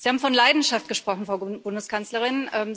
Sie haben von Leidenschaft gesprochen, Frau Bundeskanzlerin.